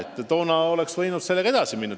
Ka toona oleks võinud sellega edasi minna.